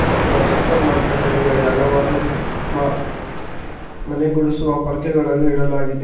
ಮತ್ತು ಆ super mart ಕೆಳಗಡೆ ಹಲವಾರು ಮಾ ಮನೆ ಗುಡಿಸುವ ಪೊರ್ಕೆಗಳನ್ನ ಇಡಲಾಗಿದೆ.